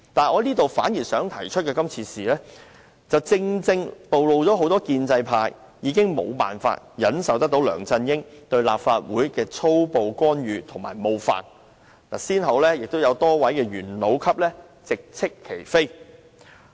我反而想提出的是，今次事件正好暴露了很多建制派已經無法忍受梁振英對立法會的粗暴干預及冒犯，有多位元老級人物先後直斥其非。